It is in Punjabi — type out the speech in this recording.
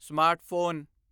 ਸਮਾਰਟਫ਼ੋਨ